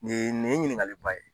Nin ye, nin ye ɲininkali ba ye.